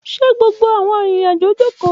Ṣe gbogbo awọn arinrin-ajo joko?